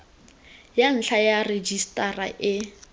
ya ntlha ya rejisetara e